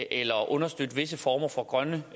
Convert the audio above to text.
eller at understøtte visse former for grønne